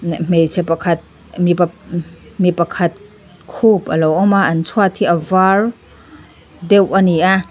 hmeichhe pakhat mipa mipap mi pakhat khup alo awm a an chhuat hi a var deuh a ni a.